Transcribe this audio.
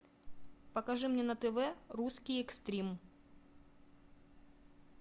покажи мне на тв русский экстрим